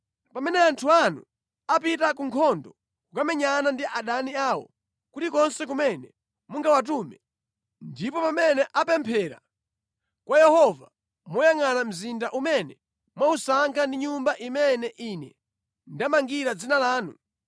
“Pamene anthu anu apita ku nkhondo kukamenyana ndi adani awo, kulikonse kumene mungawatume, ndipo pamene apemphera kwa Yehova moyangʼana mzinda umene mwausankha ndi Nyumba imene ine ndamangira Dzina lanu,